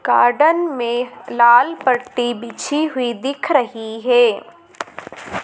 Garden में लाल पट्टी बिछी हुई दिख रही है।